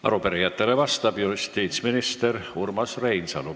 Arupärijatele vastab justiitsminister Urmas Reinsalu.